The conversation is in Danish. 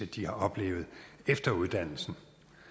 de har haft efter uddannelsen